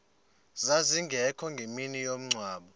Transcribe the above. zazingekho ngemini yomngcwabo